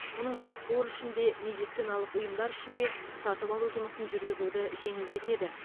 мұның бәрі қор үшін де медициналық ұйымдар үшін де сатып алу жұмысын жүргізуді жеңілдетеді